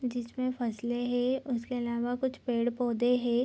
जिसमें फसलें हे उसके अलावा कुछ पेड़-पौधे हे।